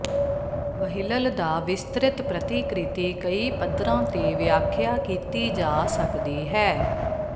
ਵ੍ਹੀਲਲ ਦਾ ਵਿਸਤ੍ਰਿਤ ਪ੍ਰਤੀਕ੍ਰਿਤੀ ਕਈ ਪੱਧਰਾਂ ਤੇ ਵਿਆਖਿਆ ਕੀਤੀ ਜਾ ਸਕਦੀ ਹੈ